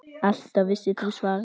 Alltaf vissir þú svarið.